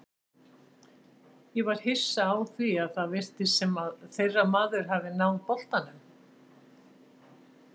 Ég var hissa því að það virtist sem að þeirra maður hafi náð boltanum.